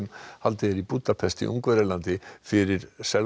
haldið er í Búdapest í Ungverjalandi fyrir